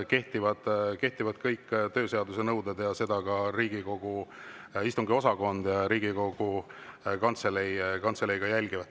Neile kehtivad kõik tööseaduse nõuded ja neid Riigikogu Kantselei ka järgib.